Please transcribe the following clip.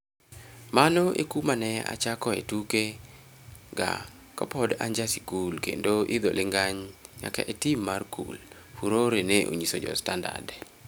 mano ekuma ne achako e tuke ga kapod anja skul kendo idho lingany nyaka e tim mar kul, Furore ne onyiso jo Standard